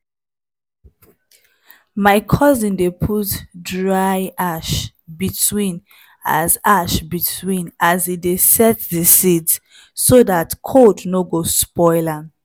my cousin dey put dry ash between as ash between as e dey set the sit so that cold no go spoil am